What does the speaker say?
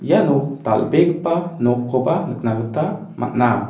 iano dal·begipa nokkoba nikna gita man·a.